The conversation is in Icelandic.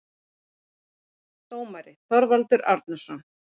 Dómari: Þorvaldur Árnason